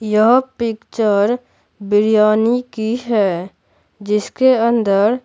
यह पिक्चर बिरयानी की है जिसके अंदर--